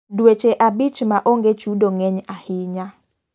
Dueche abich ma onge chudo ng'eny ahinya.